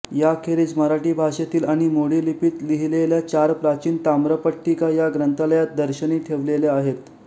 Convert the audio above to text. याखेरीज मराठी भाषेतील आणि मोडी लिपीत लिहिलेल्या चार प्राचीन ताम्रपट्टिका या ग्रंथालयात दर्शनी ठेवलेल्या आहेत